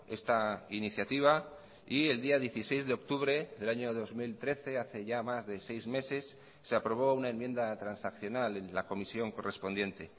esta iniciativa y el día dieciséis de octubre del año dos mil trece hace ya más de seis meses se aprobó una enmienda transaccional en la comisión correspondiente